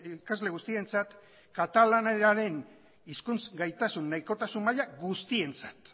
ikasle guztientzat katalanenaren hizkuntz gaitasun nahikotasun maila guztientzat